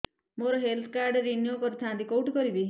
ମୋର health card renew କରିଥାନ୍ତି କୋଉଠି କରିବି